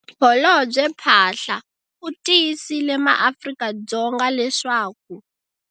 Holobye Phaahla u tiyisile maAfrika-Dzonga leswaku.